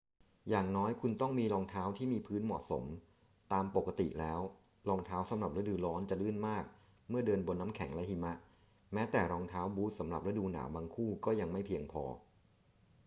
อย่างน้อยคุณต้องมีรองเท้าที่มีพื้นเหมาะสม ตามปกติแล้ว รองเท้าสำหรับฤดูร้อนจะลื่นมากเมื่อเดินบนน้ำแข็งและหิมะ แม้แต่รองเท้าบู๊ตสำหรับฤดูหนาวบางคู่ก็ยังไม่เพียงพอ